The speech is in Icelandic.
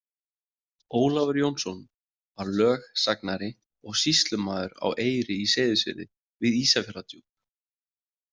Ólafur Jónsson var lögsagnari og sýslumaður á Eyri í Seyðisfirði við Ísafjarðardjúp.